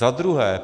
Za druhé.